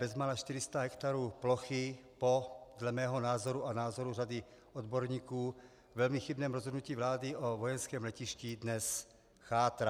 Bezmála 400 hektarů plochy, po dle mého názoru a názoru řady odborníků velmi chybném rozhodnutí vlády o vojenském letišti, dnes chátrá.